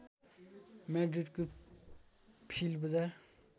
म्याड्रिडको flea बजार